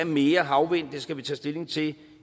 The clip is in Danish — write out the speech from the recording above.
mere havvind skal vi tage stilling til